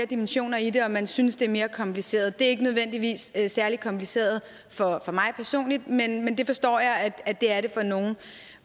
dimensioner i det og at man synes det er mere kompliceret det er ikke nødvendigvis særlig kompliceret for mig personligt men men det forstår jeg at det er for nogle